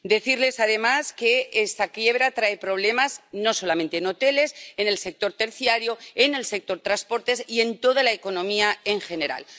Quiero decirles, además, que esta quiebra trae problemas no solamente en hoteles en el sector terciario, en el sector de los transportes y en toda la economía en general.